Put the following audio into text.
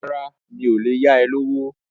Rárá, mi ò lè yá ẹ lówó.